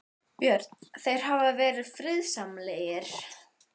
Björn: Þeir hafa verið friðsamlegir?